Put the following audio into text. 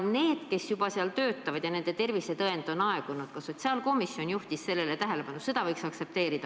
Need, kes seal juba töötavad ja kelle tervisetõend on aegunud – seda võiks aktsepteerida, ka sotsiaalkomisjon juhtis sellele tähelepanu.